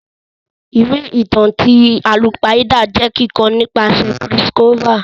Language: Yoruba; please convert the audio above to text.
Ìwé ìtàn ti àlùpàídà jẹ kikọ nìpasẹ̀ Chris Colfer.